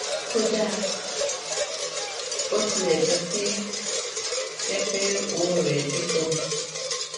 kódà bó tilè jé pé jé pé ọwó rè dí ganan